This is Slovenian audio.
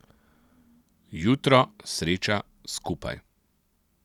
Jutro, sreča, skupaj.